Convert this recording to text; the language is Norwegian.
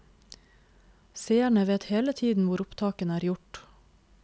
Seerne vet hele tiden hvor opptakene er gjort.